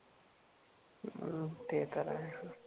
हम्म ते तर आहेच